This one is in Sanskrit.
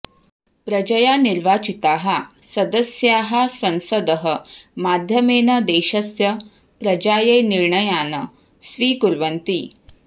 प्रजया निर्वाचिताः सदस्याः संसदः माध्यमेन देशस्य प्रजायै निर्णयान् स्वीकुर्वन्ति